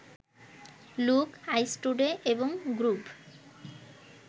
look, ice today এবং গ্রুভ